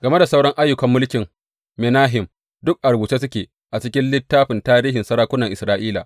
Game da sauran ayyukan mulkin Menahem, duk a rubuce suke a cikin littafin tarihin sarakunan Isra’ila.